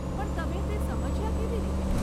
પણ તમે તે સમજ્યા કેવી રીતે?